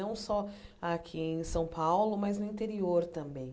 Não só aqui em São Paulo, mas no interior também.